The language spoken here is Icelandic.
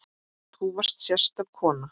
Þú varst sérstök kona.